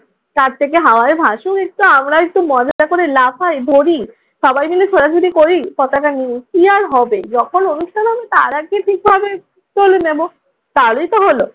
ছাদ থেকে হাওয়ায় ভাসুক একটু, আমরাও একটু মজা করে লাফাই, ধরি। সবাই মিলে ছোটাছুটি করি পতাকা নিয়ে। কি আর হবে যখন অনুষ্ঠান হবে তার আগে ঠিকভাবে তুলে নেব। তাহলেই তো হলো।